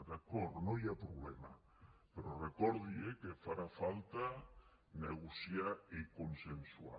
d’acord no hi ha problema però recordi eh que farà falta negociar i consensuar